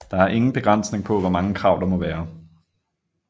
Der er ingen begrænsning på hvor mange krav der må være